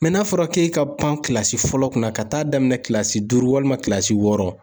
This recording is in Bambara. n'a fɔra k'e ka pan kilasi fɔlɔ kunna ka taa daminɛ kilasi duuru walima kilasi wɔɔrɔ